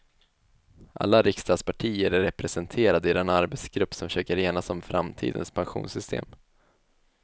Alla riksdagspartier är representerade i den arbetsgrupp som försöker enas om framtidens pensionssystem.